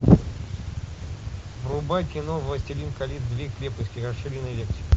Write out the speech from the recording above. врубай кино властелин колец две крепости расширенная версия